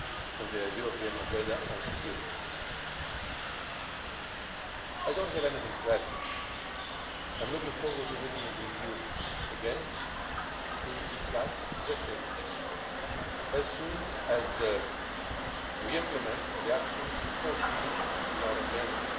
in the European Agenda on Security. I do not have anything to add tonight. I am looking forward to meeting with you again to discuss the same issue as soon as we have implemented the actions foreseen in our agenda.